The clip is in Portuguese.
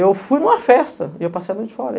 Eu fui numa festa e eu passei a noite fora.